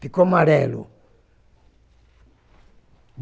Ficou amarelo.